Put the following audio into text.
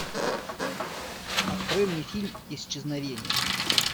открой мне фильм исчезновение